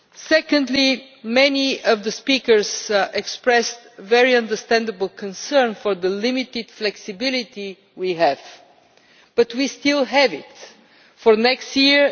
Secondly, many of the speakers expressed a very understandable concern about the limited flexibility we have. But we still have some flexibility for next year